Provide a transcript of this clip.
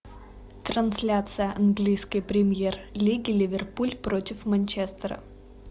трансляция английской премьер лиги ливерпуль против манчестера